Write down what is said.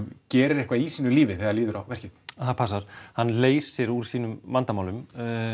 gerir eitthvað í sínu lífi þegar líður á verkið það passar hann leysir úr sínum vandamálum